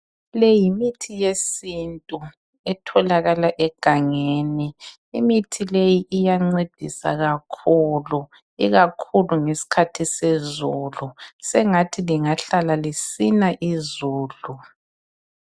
Le yimithi yesintu etholakala egangeni. Imithi leyi iyancedisa kakhulu ikakhulu ngesikhathi sezulu. Sengathi lingahlala lisina izulu.